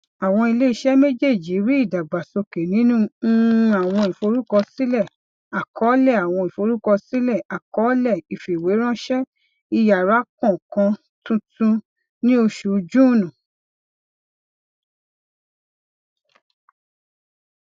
àwọn iléiṣẹ méjèèjì rí ìdàgbàsókè nínú um àwọn ìforúkọsílẹ àkọọlẹ àwọn ìforúkọsílẹ àkọọlẹ ìfìwéránṣẹ ìyára kánkán tuntun ní oṣù june